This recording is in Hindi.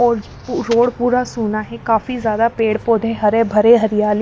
और रोड पूरा सोना है काफी ज्यादा पेड़ पौधे हरे भरे हरियाले--